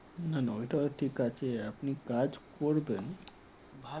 না না ওটা ঠিক আছে আপনি কাজ করবেন